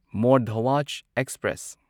more Dhwaj express